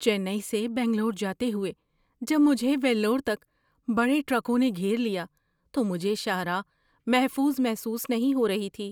چنئی سے بنگلور جاتے ہوئے جب مجھے ویلور تک بڑے ٹرکوں نے گھیر لیا تو مجھے شاہراہ محفوظ محسوس نہیں ہو رہی تھی۔